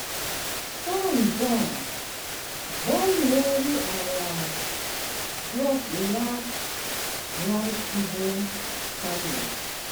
sun burn burn worry our crop last dry season farming.